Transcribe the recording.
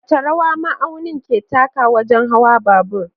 Wace rawa ma'aunin ke takawa wajen hawan babur?